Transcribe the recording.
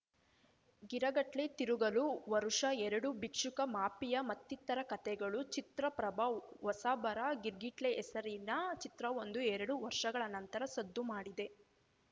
ಗಿರ್‌ಗಟ್ಲೆ ತಿರುಗಲು ವರುಷ ಎರಡು ಭಿಕ್ಷುಕ ಮಾಪಿಯಾ ಮತ್ತಿತರ ಕತೆಗಳು ಚಿತ್ರಪ್ರಭ ಹೊಸಬರ ಗಿರ್‌ಗಿಟ್ಲೆ ಹೆಸರಿನ ಚಿತ್ರವೊಂದು ಎರಡು ವರ್ಷಗಳ ನಂತರ ಸದ್ದು ಮಾಡಿದೆ